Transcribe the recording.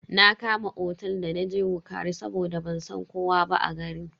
Na Kama otel da naje wukari saboda ban san kowa ba a garin.